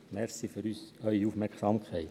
Danke für Ihre Aufmerksamkeit.